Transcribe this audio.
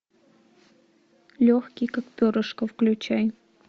легкий как перышко включай